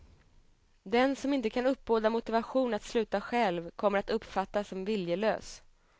Den som inte kan uppbåda motivation att sluta själv kommer att uppfattas som viljelös.